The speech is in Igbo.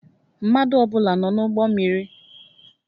Mmadụ ọ bụla nọ n'ụgbọ mmiri?